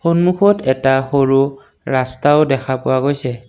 সন্মুখত এটা সৰু ৰাস্তাও দেখা পোৱা গৈছে।